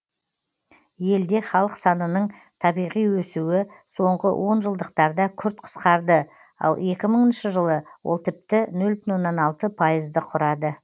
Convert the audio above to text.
елде халық санының табиғи өсуі соңғы онжылдықтарда күрт қысқарды ал екі мыңыншы жылы ол тіпті нөл бүтін оннан алты пайызды құрады